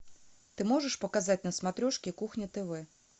ты можешь показать на смотрешке кухня тв